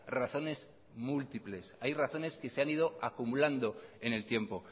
razones múltiples hay razones que se han ido acumulando en el tiempo